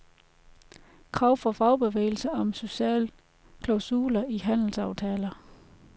Krav fra fagbevægelse om sociale klausuler i handelsaftaler.